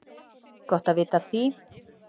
Gott að vita af því!